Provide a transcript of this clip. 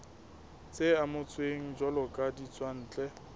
tse amohetsweng jwalo ka ditswantle